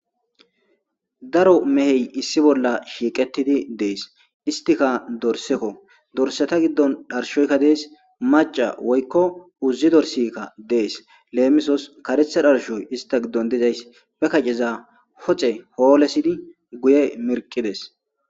Daro meheti issi bolla shiiqidi des istika dorseko Dorsata gidon dharshoyka des maca woykon uzi dorsi des lemisos karetha dharshoy issta gidon dezaysi be kaceza pude holesidi oyqides